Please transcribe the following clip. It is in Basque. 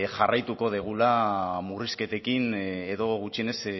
jarraituko dugula murrizketekin edo gutxienez